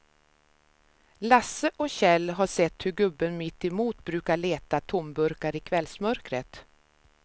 Lasse och Kjell har sett hur gubben mittemot brukar leta tomburkar i kvällsmörkret.